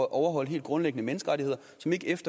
overholde helt grundlæggende menneskerettigheder som ikke